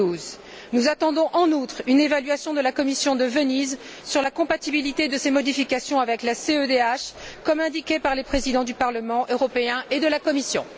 2012. Nous attendons, en outre, une évaluation de la Commission de Venise sur la compatibilité de ces modifications avec la CEDH, comme indiqué par les Présidents du Parlement européen et de la Commission.